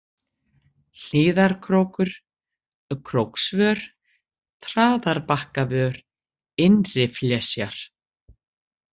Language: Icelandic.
Hlíðarkrókur, Króksvör, Traðarbakkavör, Innriflesjar